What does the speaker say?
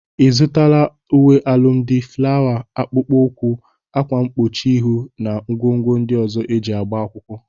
Ịzụtala uwe alụmdị, flawa, akpụkpọ ụkwụ,, akwa mkpuchi ịhụ na ngwongwo ndị ọzọ e ji agba akwụkwọ?